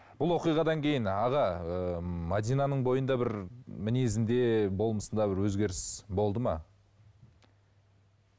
бұл оқиғадан кейін аға ы мәдинаның бойында бір мінезінде болмысында бір өзгеріс болды ма